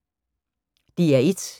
DR1